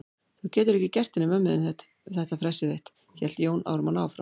Þú getur ekki gert henni mömmu þinni þetta fressið þitt, hélt Jón Ármann áfram.